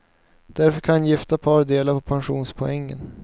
Därför kan gifta par dela på pensionspoängen.